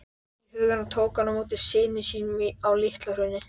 í huganum tók hann á móti syni sínum á LitlaHrauni.